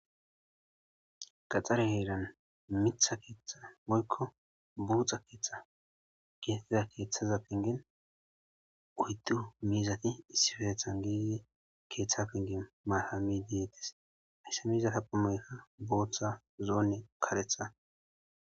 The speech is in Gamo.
qaxxare heeran mitha keeththa moykko buuxa keeththa geetettida keeththaza pengen uyddu miizati issifeethan geee keeththa pengin maahami deettis aiyssa miizata phumoykka booththa zoonne karetha